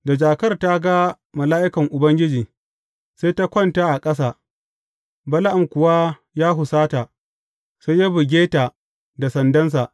Da jakar ta ga mala’ikan Ubangiji, sai ta kwanta a ƙasa, Bala’am kuwa ya husata, sai ya buge ta da sandansa.